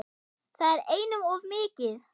Það er einum of mikið.